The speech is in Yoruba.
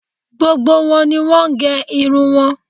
Gbogbo wọn ni wọ́n gẹ irun wọn